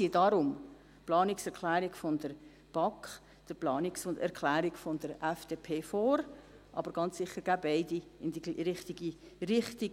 Wir ziehen darum die Planungserklärung der BaK der Planungserklärung der FDP vor, aber ganz sicher gehen beide in die richtige Richtung.